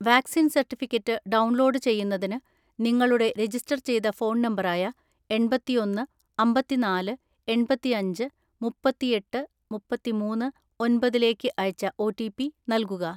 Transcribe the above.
vaccine certificate download ചെയ്യുന്നതിന്, നിങ്ങളുടെ register ചെയ്ത ഫോൺ നമ്പറായ എണ്‍പത്തിഒന്ന് അമ്പത്തിനാല് എണ്‍പത്തിഅഞ്ച് മുപ്പത്തിഎട്ട് മുപ്പത്തിമൂന്ന് ഒന്‍പതിലേക്ക് അയച്ച ഒറ്റിപി നൽകുക